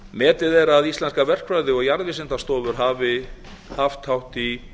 metið er að íslenskar verkfræði og jarðvísindastofur hafi haft hátt í